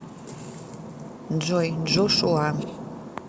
джой джошуа